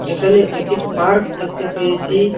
এখানে একটি পার্ক দেখতে পেয়েসি।